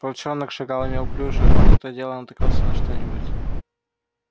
волчонок шагал неуклюже он и то дело натыкался на что-нибудь